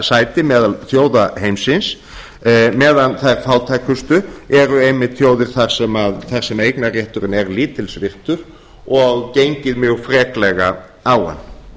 sæti meðal þjóða heimsins meðan þær fátækustu eru einmitt þjóðir þar sem eignarrétturinn er lítils virtur og gengið mjög freklega á